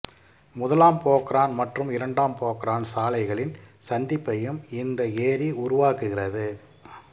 முதலாம் போக்ரான் மற்றும் இரண்டாம் போக்ரான் சாலைகளின் சந்திப்பையும் இந்த ஏரி உருவாக்குகிறது